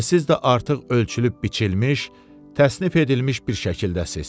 Və siz də artıq ölçülüb biçilmiş, təsnif edilmiş bir şəkildəsiz.